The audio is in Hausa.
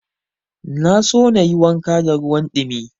Na so na yi wanka da ruwan ɗumi.